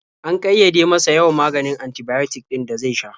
An ƙayyade masa yawan maganin antibiotic ɗin da zai sha.